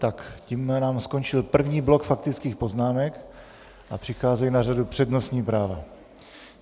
Tak tím nám skončil první blok faktických poznámek a přicházejí na řadu přednostní práva.